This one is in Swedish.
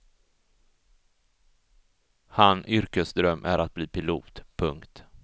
Han yrkesdröm är att bli pilot. punkt